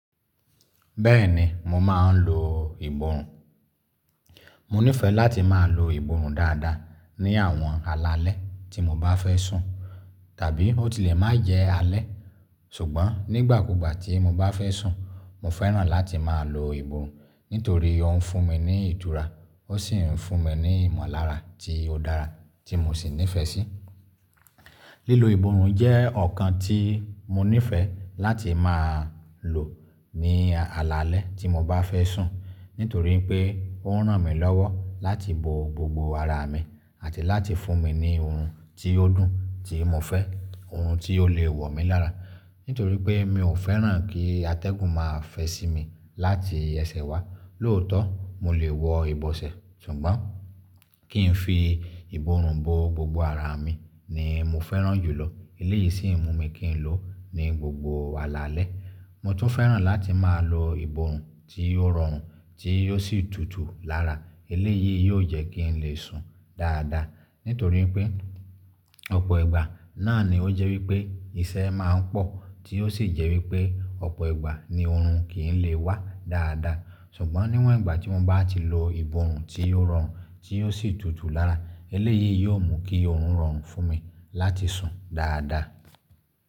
Bẹ́ẹ̀ni mo máa ń lo ìborùn. Mo nífẹ̀ẹ́ láti máa lo ìborùn dáadáa ní àwọn alalẹ́ tí mo bá fẹ́ sùn tàbí ó tilẹ̀ má jẹ́ alẹ́ ṣùgbọ́n nígbàkúgbà tí mo bá fẹ́ sùn mo fẹ́ràn láti máa lo ìborùn nítorí ó ń fún mi ní ìtúra ó sì ń fún mi ní ìmọ̀lára tí ó dára tí mo sì nífẹ̀ẹ́ sí. Lílo ìborùn jẹ́ ọ̀kan tí mo nífẹ̀ẹ́ láti máa lò ní alalẹ́ tí mo bá fẹ́ sùn nítorí pé ó ń ràn mí lọ́wọ́ láti bo gbogbo ara mi àti láti fún mi ní orun tí ó dùn tí mo fẹ́ orun tí ó lè wọ̀ mí lára. Nítorí pé mi ò fẹ́ràn kí atẹ́gùn máa fẹ́ sí mi láti ẹsẹ̀ wá lóòótọ́ mo lè wọ ìbọsẹ̀ ṣùgbọ́n kí n fi ìborùn bo gbogbo ara mi ni mo fẹ́ràn jùlọ eléyìí sì ń mú mi kí n lò ó ní gbogbo alalẹ́. Mo tún fẹ́ràn láti máa lo ìborùn tí ó rọrùn tí ó sì tútù lára eléyìí yóò jẹ́ kí n lè sùn dáadáa. Nítorí pé ọ̀pọ̀ ìgbà náà ni ó jẹ́ wí pé iṣẹ́ máa ń pọ̀ tí yóò sì jẹ́ wí pé ọ̀pọ̀ ìgbà ni oorun kì í lè wá dáadáa ṣùgbọ́n níwọ̀n ìgbà tí mo bá ti lo ìbòòrù tí ó rọrùn tí i sì tútù lára eléyìí yóò mú kí oorun rọrùn fún mi láti sùn dáadáa.